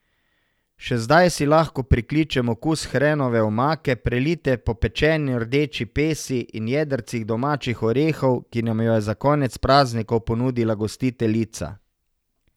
Še zdaj si lahko prikličem okus hrenove omake, prelite po pečeni rdeči pesi in jedrcih domačih orehov, ki nam jo je za konec praznikov ponudila gostiteljica.